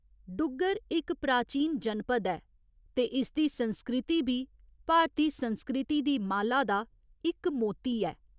डुग्गर इक प्राचीन जनपद ऐ ते इसदी संस्कृति बी भारती संस्कृति दी माला दा इक मोती ऐ।